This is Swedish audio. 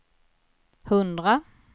hundra